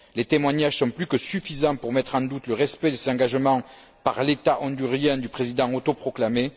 Les témoignages sont plus que suffisants pour mettre en doute le respect des engagements par l'État hondurien du président autoproclamé.